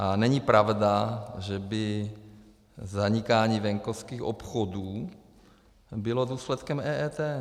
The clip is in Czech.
A není pravda, že by zanikání venkovských obchodů bylo důsledkem EET.